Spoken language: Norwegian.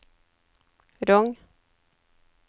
Rong